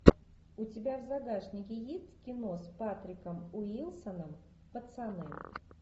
у тебя в загашнике есть кино с патриком уилсоном пацаны